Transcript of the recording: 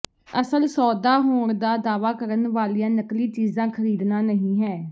ਅਸਲ ਸੌਦਾ ਹੋਣ ਦਾ ਦਾਅਵਾ ਕਰਨ ਵਾਲੀਆਂ ਨਕਲੀ ਚੀਜ਼ਾਂ ਖ਼ਰੀਦਣਾ ਨਹੀਂ ਹੈ